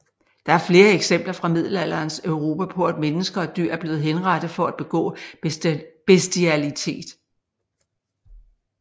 Der er flere eksempler fra middelalderens Europa på at mennesker og dyr er blevet henrettet for at begå bestialitet